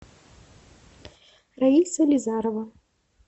раиса лизарова